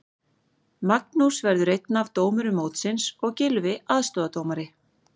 Magnús verður einn af dómurum mótsins og Gylfi aðstoðardómari.